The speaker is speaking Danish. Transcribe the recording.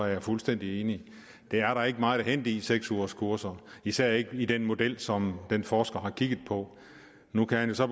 jeg fuldstændig enig det er der ikke meget at hente i seks ugerskurser især ikke i den model som den forsker har kigget på nu kan han jo så